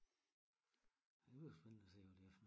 Det bliver spændende at se hvad det er for noget